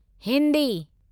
Hindi